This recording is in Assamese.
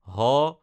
হ